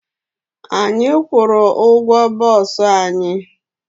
Anyị kwụru ụgwọ boosu anyị